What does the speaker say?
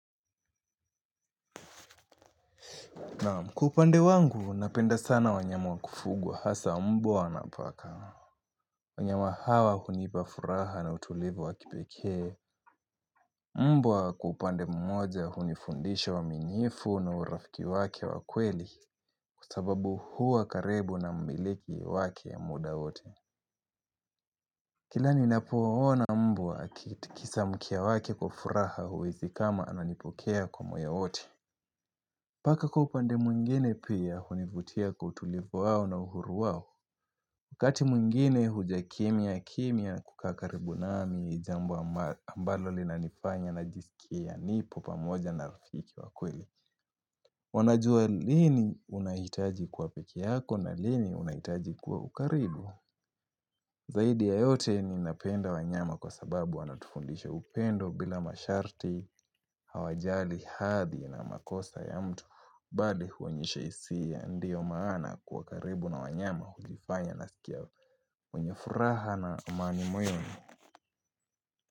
Nam kwa upande wangu, napenda sana wanyamu wakufugwa hasa mbwa na paka. Wanyama hawa hunipafuraha na utulivu wa kipekee. Mbwa kwa upande mmoja hunifundisha uaminifu na urafiki wake wa kweli kwa sababu hua karibu na mmiliki wake muda wote. Kila ninapoona mbwa akitikisa mkia wake kwa furaha huhisi kama ananipokea kwa moya wote. Paka kwa upande mwingine pia hunivutia kwa utulivu wao na uhuru wao. Ukati mwingine huja kimya kimya kukaa karibu nami jambo ambalo ambalo linanifanya najisikia nipo pamoja na rafiki wa kweli. Wanajua lini unahitaji kuwa peke yako na lini unahitaji kuwa ukaribu. Zaidi ya yote ni napenda wanyama kwa sababu wanatufundisha upendo bila masharti, hawajali, hadhi na makosa ya mtu Bali huonyesha hisia ndio maana kuwa karibu na wanyama hukifanya naskia mwenye furaha na amani moyoni.